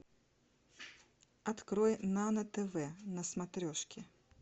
открой нано тв на смотрешке